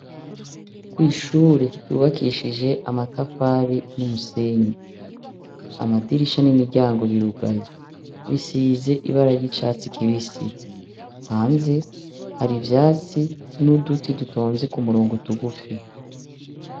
Kw'ishure ry'uwubakishije amatafari n'umusenyi, amadirisha n'imiryango birugaye, bisize ibara ry'icatsi kibisi. Hanze, hari ivyatsi n'uduti dutonze ku murongo tugufi.